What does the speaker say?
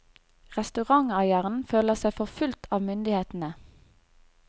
Restauranteieren føler seg forfulgt av myndighetene.